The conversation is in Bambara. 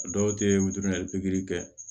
Dɔw tɛ wili ali pikiri kɛ